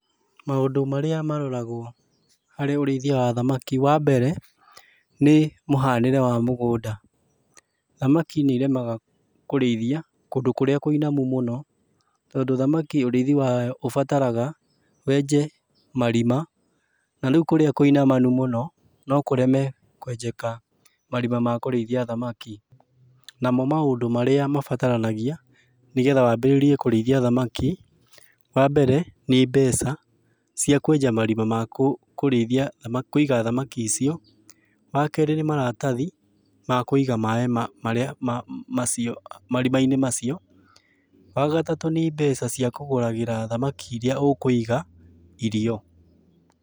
Maũndũ marĩa maroragũo harĩ ũrĩithia wa thamaki, wambere, nĩ mũhanĩre wa mũgũnda. Thamaki nĩiremaga kũrĩithia, kũndũ kũrĩa kũinamu mũno, tondũ thamaki ũrĩithi wayo ũbataraga, wenje marima, na rĩu kũrĩa kũinamanu mũno, no kũreme kwenjeka marima ma kũrĩithia thamaki. Namo maũndũ marĩa mabataranagia, nĩgetha wambĩrĩrie kũrĩithia thamaki. Wambere, nĩ mbeca cia kwenja marima ma kũrĩithia kũiga thamaki icio. Wakerĩ nĩ maratathi, ma kũiga maĩ marĩa macio marima-inĩ macio. Wagatatũ nĩ mbeca cia kũgũragĩra thamaki iria ũkũiga irio.